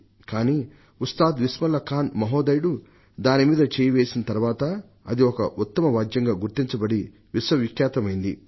కానీ ఉస్తాద్ బిస్మిల్లా ఖాన్ మహోదయుడు దాని మీద చేయి వేసిన తరువాత అది ఒక ఉత్తమ వాద్యంగా గుర్తించబడి విశ్వవిఖ్యాతమైంది